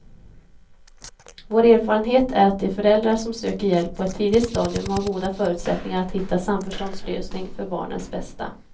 Vår erfarenhet är att de föräldrar som söker hjälp på ett tidigt stadium har goda förutsättningar att hitta en samförståndslösning för barnens bästa.